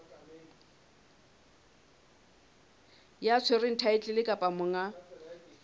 ya tshwereng thaetlele kapa monga